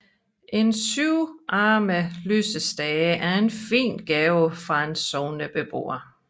En syvarmet lysestage er en gave fra en sognebeboer